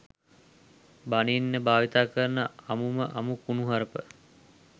බනින්න භාවිතා කරන අමුම අමු කුණුහරුප.